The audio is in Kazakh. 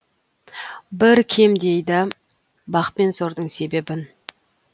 бір кем дейді бақ пен сордың себебін